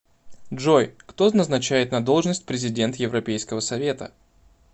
джой кто назначает на должность президент европейского совета